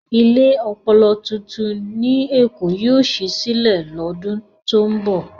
Ilé ọpọlọ tuntun ní Èkó yóò ṣí sílẹ̀ lọ́dún tó ń bọ̀.